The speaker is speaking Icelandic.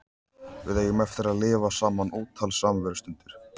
Við eigum eftir að lifa saman ótal samverustundir.